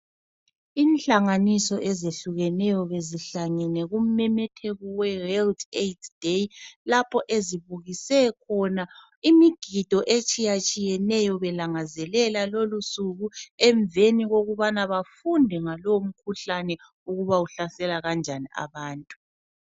Inhlanganiso ezehlukeneyo beziihlangene kumemetheko weWorld Aids Day lapho ezibukise khona imigido etsiyatshiyeneyo belangazelela lolusuku emveni kokubana bafunde ngalowo mkhuhlane ukubana uhlasela kanjani abantu.